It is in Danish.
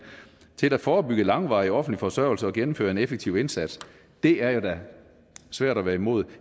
til at forebygge langvarig offentlig forsørgelse og gennemføre en effektiv indsats det er da svært at være imod